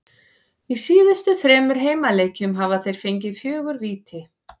Í síðustu þremur heimaleikjum hafa þeir fengið fjögur víti.